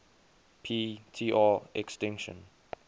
p tr extinction